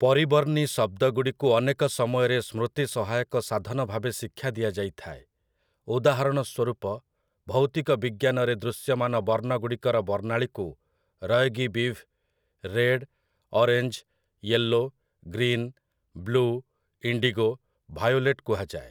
ପରିବର୍ଣ୍ଣୀ ଶବ୍ଦଗୁଡ଼ିକୁ ଅନେକ ସମୟରେ ସ୍ମୃତିସହାୟକ ସାଧନ ଭାବେ ଶିକ୍ଷା ଦିଆଯାଇଥାଏ, ଉଦାହରଣ ସ୍ୱରୂପ, ଭୌତିକ ବିଜ୍ଞାନରେ ଦୃଶ୍ୟମାନ ବର୍ଣ୍ଣଗୁଡ଼ିକର ବର୍ଣ୍ଣାଳିକୁ 'ROYGBIV' - red, orange, yellow, green, blue, indigo, violet କୁହାଯାଏ ।